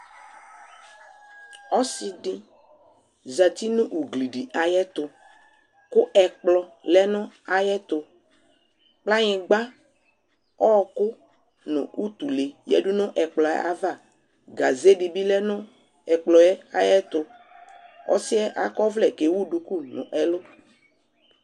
Ɔsi di zati nʋ ugli di ayɛtʋ kʋ ɛkplɔ lɛ nʋ ayɛtʋ Kplanyigba, ɔɔkʋ nʋ utule yadu nʋ ɛkplɔ yɛ ava Gaze di bi lɛ nʋ ɛkplɔ yɛ ayɛtʋ Ɔsi yɛ akɔ ɔvlɛ kɛ ewu duku n'ɛlʋ